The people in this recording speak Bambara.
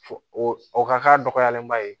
Fo o ka k'a dɔgɔyalenba ye